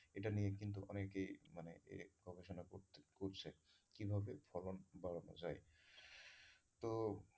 এটা নিয়ে কিন্তু অনেকেই মানে এই profession এ পড়ছে কীভাবে ফলন বাড়ানো যায় তো,